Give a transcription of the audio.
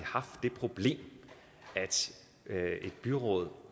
problem at et byråd